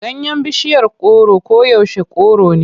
Ganyen bishiyar goro koyaushe kore ne.